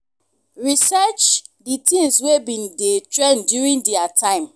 research di things wey been dey trend during their time